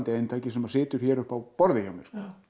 eintaki sem situr hér uppi á borði hjá mér